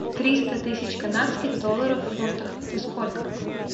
триста тысяч канадских долларов в фунтах это сколько